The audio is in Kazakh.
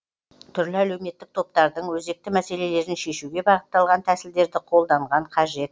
түрлі әлеуметтік топтардың өзекті мәселелерін шешуге бағытталған тәсілдерді қолданған қажет